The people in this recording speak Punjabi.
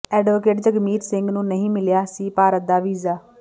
ਐਡਵੋਕੇਟ ਜਗਮੀਤ ਸਿੰਘ ਨੂੰ ਨਹੀਂ ਮਿਲਿਆ ਸੀ ਭਾਰਤ ਦਾ ਵੀਜ਼ਾ